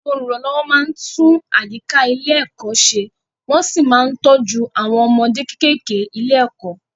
Àwọn olùrànlọ́wọ́ máa ń tún àyíká ilé-ẹ̀kọ́ ṣẹ wọ́n sì máa ń tọ́jú àwọn ọmọdé kéékèèké ilé-ẹ̀kọ́.